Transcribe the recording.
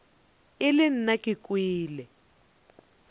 e le nna ke kwele